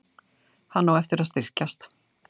Hann á eftir að styrkjast.